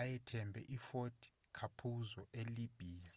ayethumbe ifort capuzzo elibya